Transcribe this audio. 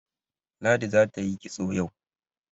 Ladi za ta yi kitso yau.